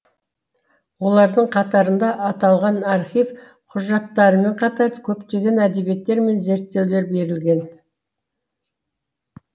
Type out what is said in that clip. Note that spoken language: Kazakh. олардың қатарында аталған архив құжаттарымен қатар көптеген әдебиеттер мен зерттеулер берілген